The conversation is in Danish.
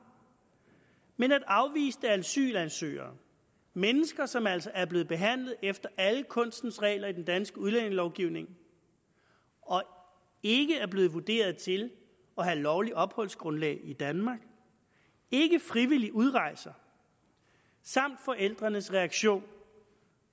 men at afviste asylansøgere mennesker som altså er blevet behandlet efter alle kunstens regler i den danske udlændingelovgivning og ikke er blevet vurderet til at have lovligt opholdsgrundlag i danmark ikke frivilligt udrejser samt forældrenes reaktion